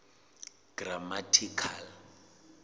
grammatical